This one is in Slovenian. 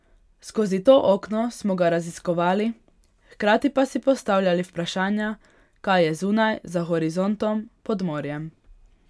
Skozi to okno smo ga raziskovali, hkrati pa si postavljali vprašanja, kaj je zunaj, za horizontom, pod morjem...